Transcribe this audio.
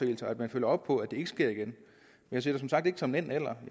altså at man følger op på om det sker igen jeg ser det som sagt ikke som enten eller